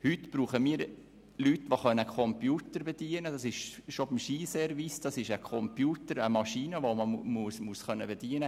Heute brauchen wir Leute, die bereits beim Skiservice einen Computer bedienen können;